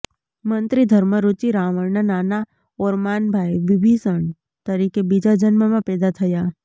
મંત્રી ધર્મરુચિ રાવણના નાના ઓરમાન ભાઈ વિભીષણ તરીકે બીજા જન્મમાં પેદા થયા